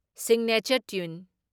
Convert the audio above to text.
Signature tune.